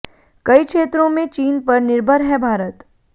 कई क्षेत्रों में चीन पर निर्भर है भारत